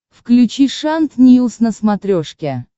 включи шант ньюс на смотрешке